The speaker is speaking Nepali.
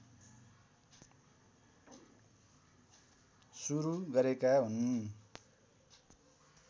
सुरु गरेका हुन्